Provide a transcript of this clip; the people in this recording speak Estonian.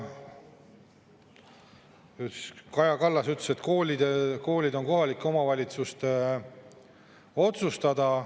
Kaja Kallas ütles, et koolid on kohalike omavalitsuste otsustada.